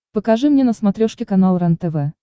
покажи мне на смотрешке канал рентв